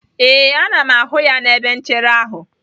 Ee, ana m ahụ ya n'ebe nchere ahụ.